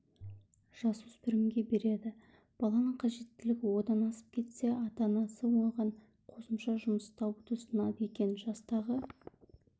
жасөспірімге береді баланың қажеттілігі одан асып кетсе ата-анасы оған қосымша жұмыс табуды ұсынады екен жастағы